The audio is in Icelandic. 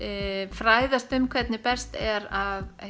fræðast um hvernig best er að